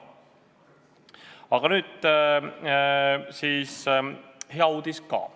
Aga nüüd hea uudis ka.